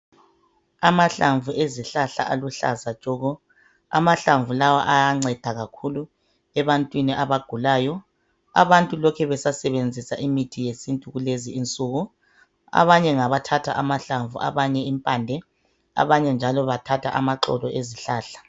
Amahlamvu ezihlala aluhlaza tshoko, amahlamvu lawa ayanceda kakhulu ebantwini abagulayo. Abantu lokhe besasebenzisa imithi yesintu kulezi insuku. Abanye ngabathatha amahlamvu, abanye impande abanye njalo bathatha amaxolo ezihlahla.